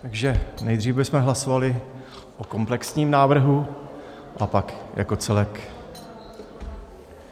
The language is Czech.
Takže nejdřív bychom hlasovali o komplexním návrhu a pak jako celek.